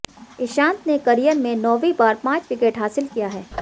ईशांत ने करियर में नौवीं बार पांच विकेट हासिल किया है